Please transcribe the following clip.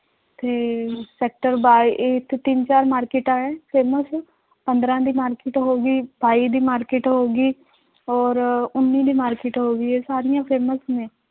ਤੇ sector ਬਾ ਇੱਥੇ ਤਿੰਨ ਚਾਰ ਮਾਰਕਿਟਾਂ ਹੈ famous ਪੰਦਰਾਂ ਦੀ market ਹੋ ਗਈ ਸਤਾਈ ਦੀ market ਹੋ ਗਈ ਔਰ ਉੱਨੀ ਦੀ market ਹੋ ਗਈ ਇਹ ਸਾਰੀਆਂ famous ਨੇ